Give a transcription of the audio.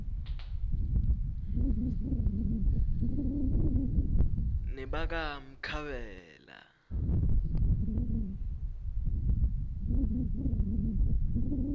nebakamkhabela